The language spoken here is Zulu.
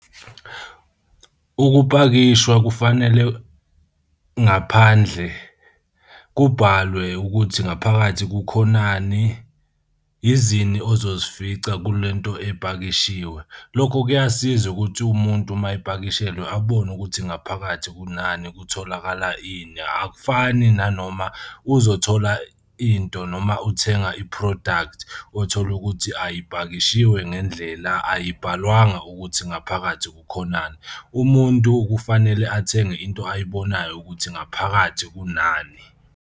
Ukupakishwa kufanele ngaphandle kubhalwe ukuthi ngaphakathi kukhonani izini ozozifica kule nto epakishiwe. Lokho kuyasiza ukuthi umuntu uma epakishelwe abone ukuthi ngaphakathi kunani kutholakala ini akufani nanoma uzothola into noma uthenga i-product othola ukuthi ayipakishiwe ngendlela ayibhalwanga ukuthi ngaphakathi kukhonani. Umuntu kufanele athenge into ayibonayo ukuthi ngaphakathi kunani.